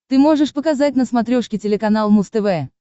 ты можешь показать на смотрешке телеканал муз тв